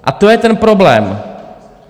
A to je ten problém.